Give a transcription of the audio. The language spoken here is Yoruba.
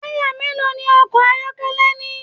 Taya mélòó ní ọkọ ayọkẹlẹ ní?